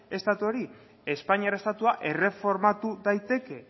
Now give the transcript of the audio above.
estatuari espainiar estatua erreformatu daiteke